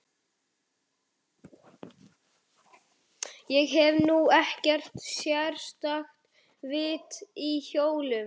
Ég hef nú ekkert sérstakt vit á hjólum.